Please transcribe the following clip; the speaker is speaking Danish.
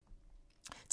TV 2